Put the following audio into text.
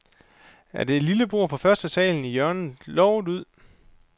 Er det lille bord på førstesalen i hjørnet lovet ud?